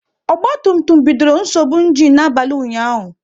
Ogba tum tum bidoro nsogbu ịnginu n'abalị ụnyaahụ